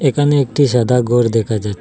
এখানে একটি সাদা গর দেখা যা--